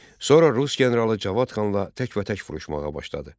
Sonra rus generalı Cavad xanla təkbətək vuruşmağa başladı.